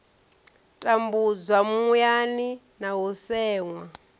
tambudzwa muyani na u seṅwa